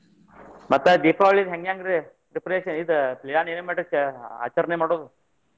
ಮತ್ತ ದೀಪಾವಳಿದ್ ಹೆಂಗಂದ್ರೆ preparation ಇದ plan ಏನ ಮಾಡಿರ್ತೇವಲ್ಲ ಆಚರಣೆ ಮಾಡೋದು.